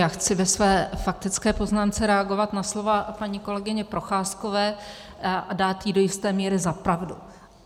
Já chci ve své faktické poznámce reagovat na slova paní kolegyně Procházkové a dát jí do jisté míry za pravdu.